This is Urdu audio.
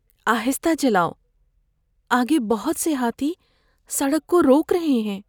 آہستہ چلاؤ۔ آگے بہت سے ہاتھی سڑک کو روک رہے ہیں۔